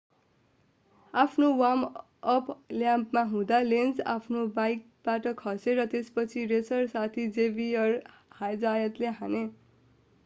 आफ्नो वार्म-अप ल्यापमा हुँदा लेन्ज आफ्नो बाइकबाट खसे र त्यसपछि रेसर साथी जेभियर जायतले हाने